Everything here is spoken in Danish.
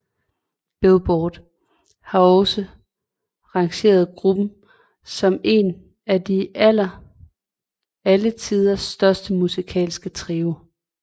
Billboard har også rangeret gruppen som en af alle tiders største musikalske trioer